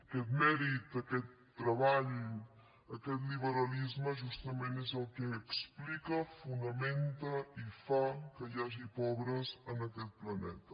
aquest mèrit aquest treball aquest liberalisme justament és el que explica fonamenta i fa que hi hagi pobres en aquest planeta